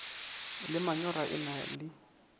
le manyora e na le